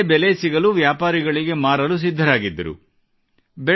ಅದಕ್ಕೆ ಒಳ್ಳೆ ಬೆಲೆ ಸಿಗಲು ವ್ಯಾಪಾರಿಗಳಿಗೆ ಮಾರಲು ಸಿದ್ಧರಾಗಿದ್ದರು